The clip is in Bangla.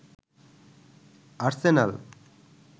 আর্সেনাল